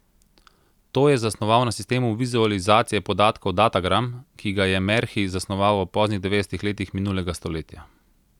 To je zasnoval na sistemu vizualizacije podatkov datagram, ki ga je Merhi zasnoval v poznih devetdesetih letih minulega stoletja.